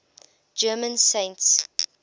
german saints